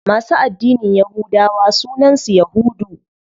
Masu addinin yahudawa sunan su yahudu.